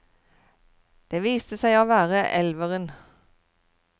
Det viste seg å være elveren.